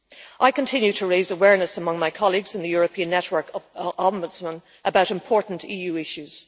I continue to raise awareness among my colleagues in the European Network of Ombudsmen about important EU issues.